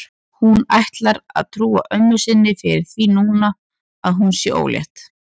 Hún ætlar að trúa ömmu sinni fyrir því núna að hún sé ólétt.